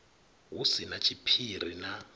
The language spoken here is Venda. hu si na tshiphiri na